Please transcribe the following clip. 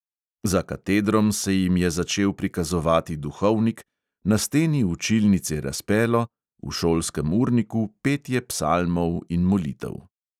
Za katedrom se jim je začel prikazovati duhovnik, na steni učilnice razpelo, v šolskem urniku petje psalmov in molitev.